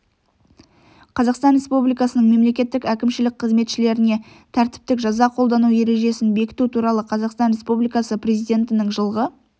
қазақстан республикасының мемлекеттік әкімшілік қызметшілеріне тәртіптік жаза қолдану ережесін бекіту туралы қазақстан республикасы президентінің жылғы